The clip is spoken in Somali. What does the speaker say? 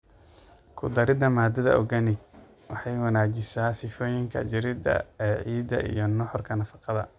Ku darida maadada organic waxay wanaajisaa sifooyinka jireed ee ciidda iyo nuxurka nafaqada.